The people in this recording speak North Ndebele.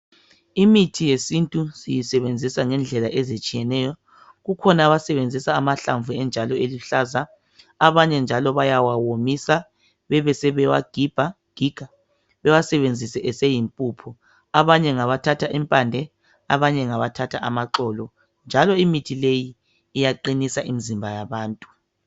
Imithi yesintu siyisebenzisa ngendlela ezitshiyeneyo, kukhona abasebenzisa amahlamvu enjalo eluhlaza abanye njalo bayawawomisa bebe sebewagiga bewasebenzise eseyimpuphu. Abanye ngabathatha impande, abanye ngabathatha amaxolo njalo imithi leyi iyaqinisa imizimba yabantu.